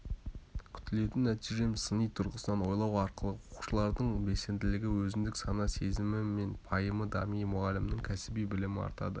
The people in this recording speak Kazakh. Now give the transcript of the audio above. күтілетін нәтижем сыни тұрғысынан ойлау арқылы оқушылардың белсенділігі өзіндік сана сезімі мен пайымы дамиды мұғалімнің кәсіби білімі артады